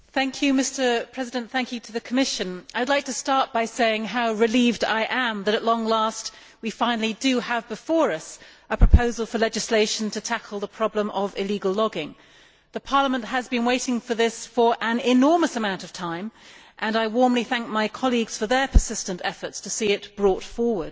Mr President, I should like to start by saying how relieved I am that, at long last, we finally have before us a proposal for legislation to tackle the problem of illegal logging. Parliament has been waiting for this for an enormous amount of time and I warmly thank my colleagues for their persistent efforts to see it brought forward.